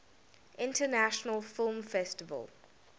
international film festival